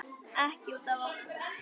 Ekki út af okkur.